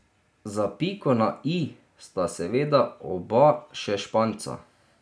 Za piko na i sta seveda oba še Španca.